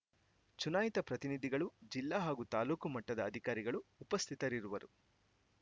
ಚುನಾಯಿತ ಪ್ರತಿನಿಧಿಗಳು ಜಿಲ್ಲಾ ಹಾಗೂ ತಾಲೂಕು ಮಟ್ಟದ ಅಧಿಕಾರಿಗಳು ಉಪಸ್ಥಿತರಿರುವರು